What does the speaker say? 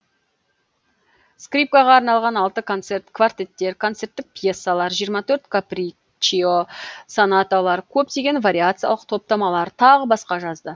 скрипкаға арналған алты концерт квартеттер концерттік пьесалар жиырма төрт каприччио сонаталар көптеген вариациялық топтамалар тағы басқа жазды